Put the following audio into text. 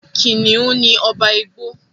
kìnìún ní ọba igbó.